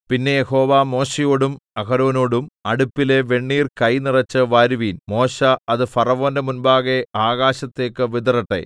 പിന്നെ യഹോവ മോശെയോടും അഹരോനോടും അടുപ്പിലെ വെണ്ണീർ കൈനിറച്ച് വാരുവീൻ മോശെ അത് ഫറവോന്റെ മുമ്പാകെ ആകാശത്തേക്ക് വിതറട്ടെ